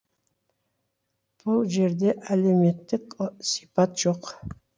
бұл жерде әлеуметтік сипат жоқ